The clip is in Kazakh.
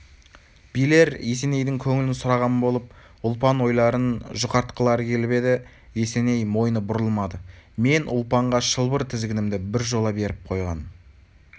билер есенейдің көңілін сұраған болып ұлпан ойларын жұқартқылары келіп еді есеней мойны бұрылмады мен ұлпанға шылбыр-тізгінімді біржола беріп қойған